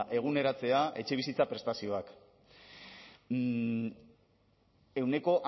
eguneratzea etxebizitza prestazioak ehuneko